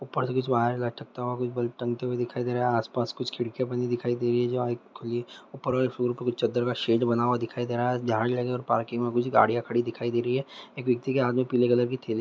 ऊपर से कुछ वायर लटकता हुआ कुछ बल्ब टंगे हुए दिखाई दे रहे है आसपास कुछ खिड़किया बनी दिखाई दे रही है जो ऊपर वाले फ्लोर का कुछ चदर का शेड बना हुआ दिखाई दे रहा है झाड़ लगे और पार्किंग में कुछ गाड़िया खड़ी दिखाई दे रही है एक व्यक्ति के हाथ में पीले कलर की थैली --